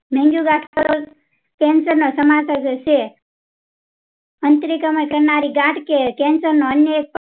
cancer સમાન્તર થશે કરનારી ગાંઠ કે cancer નો અન્ય એક